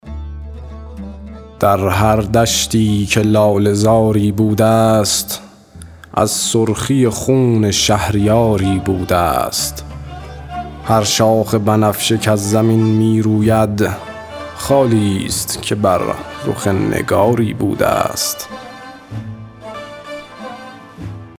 در هر دشتی که لاله زاری بوده ست از سرخی خون شهریاری بوده ست هر شاخ بنفشه کز زمین می روید خالی ست که بر رخ نگاری بوده ست